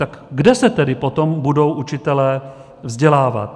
Tak kde se tedy potom budou učitelé vzdělávat?